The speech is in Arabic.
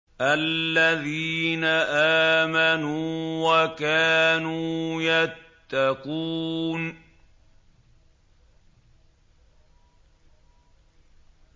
الَّذِينَ آمَنُوا وَكَانُوا يَتَّقُونَ